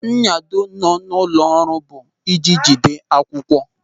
Nyado nọ n'ụlọ ọrụ bụ ịji jide akwụkwọ.